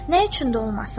Nə üçün də olmasın?